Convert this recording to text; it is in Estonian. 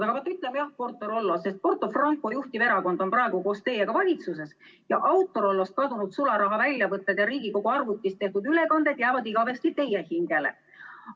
Aga vaat ütleme jah Porto‑Rollo, sest Porto Franco juhtiv erakond on praegu koos teiega valitsuses ja Autorollost kadunud sularaha väljavõtted ja Riigikogu arvutist tehtud ülekanded jäävad igavesti teie hingele.